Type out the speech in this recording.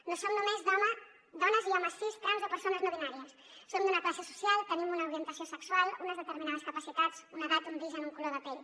no som només dones i homes cis trans o persones no binàries som d’una classe social tenim una orientació sexual unes determinades capacitats una edat un origen un color de pell